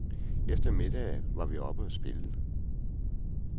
Efter middagen var vi oppe og spille.